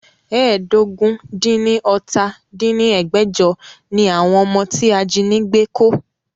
ẹ́ẹdógún-dín-ní-ọ́ta dín ní ẹgbẹ́jọ ni àwọn ọmọ tí ajínigbé kó